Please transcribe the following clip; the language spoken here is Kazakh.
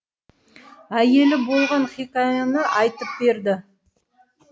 әйелі болған хикаяны айтып берді